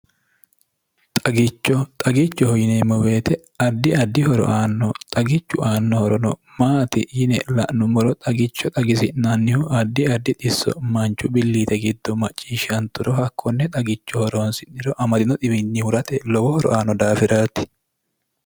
xagichoxagichoho yineemmo beete addi addihoro aanno xagichu aannohorono maati yine la'nummoro xagicho xagisi'nannihu addi addi xisso manchu billiite giddo macciishshanturo hakkonne xagicho horoonsiniro amadino diwinnihurate lowo horoaano daafiraati